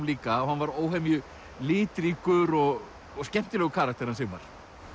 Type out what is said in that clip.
líka hann var óhemju litríkur og skemmtilegur karakter hann Sigmar